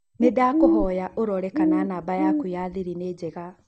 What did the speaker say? Nĩ ndakũhoya ũrore kana namba yaku ya thiri nĩ njega.